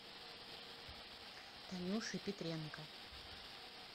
танюши петренко